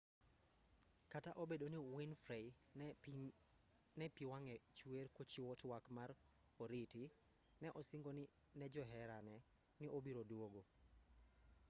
kata obedo ni winfrey ne pi wang'e chwer kochiwo twak mar oriti ne osingo ne joherane ni obiro duogo